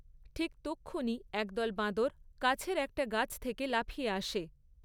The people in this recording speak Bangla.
ঠিক তক্ষুনি একদল বাঁদর, কাছের একটা গাছ থেকে লাফিয়ে আসে।